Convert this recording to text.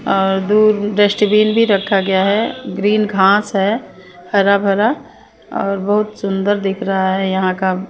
अ दो डस्टबीन भी रखा गया है ग्रीन घास है हरा भरा और बहुत सुन्दर दिख रहा है यहाँ का --